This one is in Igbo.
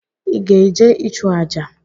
Ị ga-eje ịchụ àjà?